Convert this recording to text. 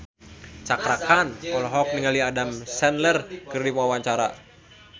Cakra Khan olohok ningali Adam Sandler keur diwawancara